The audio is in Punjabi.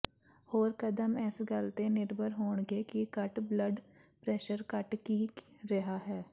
ਹੋਰ ਕਦਮ ਇਸ ਗੱਲ ਤੇ ਨਿਰਭਰ ਹੋਣਗੇ ਕਿ ਘੱਟ ਬਲੱਡ ਪ੍ਰੈਸ਼ਰ ਘੱਟ ਕੀ ਰਿਹਾ ਹੈ